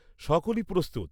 সকলই প্রস্তুত।